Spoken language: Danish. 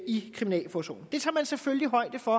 i kriminalforsorgen det tager man selvfølgelig højde for